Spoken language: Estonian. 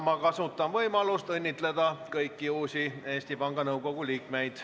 Ma kasutan võimalust õnnitleda kõiki uusi Eesti Panga Nõukogu liikmeid.